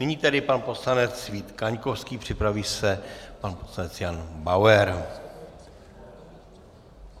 Nyní tedy pan poslanec Vít Kaňkovský, připraví se pan poslanec Jan Bauer.